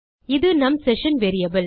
இது நம் session variable